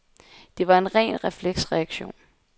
Det var en ren refleksreaktion.